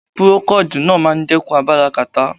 Purokodíì náà máa ń dẹ́kun agbára kàtá.